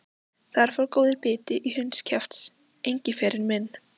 Þar fór góður biti í hundskjaft, Engiferinn minn.